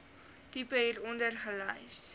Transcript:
tipe hieronder gelys